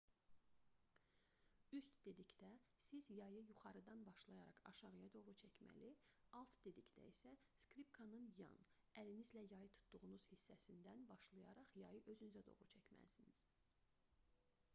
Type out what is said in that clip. "üst dedikdə siz yayı yuxarıdan başlayaraq aşağıya doğru çəkməli alt dedikdə isə skripkanın yan əlinizlə yayı tutduğunuz hissəsindən başlayaraq yayı özünüzə doğru çəkməlisiniz